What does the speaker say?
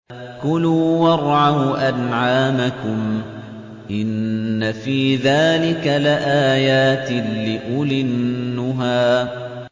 كُلُوا وَارْعَوْا أَنْعَامَكُمْ ۗ إِنَّ فِي ذَٰلِكَ لَآيَاتٍ لِّأُولِي النُّهَىٰ